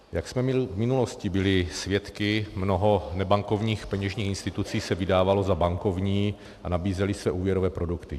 Jak jsme v minulosti byli svědky, mnoho nebankovních peněžních institucí se vydávalo za bankovní a nabízely se úvěrové produkty.